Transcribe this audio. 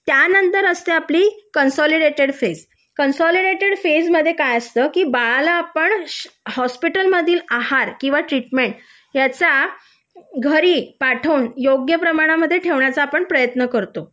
त्यानंतर असते आपली कन्सोलीडेटेड फेज कन्सोलीडेटेड फेज मध्ये काय असतं बाळाला आपण हॉस्पिटल मधील आहार किंवा ट्रीटमेंट याचा घरी पाठवून योग्य प्रमाणामध्ये ठेवण्याचा प्रयत्न करतो